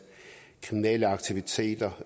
kriminelle aktiviteter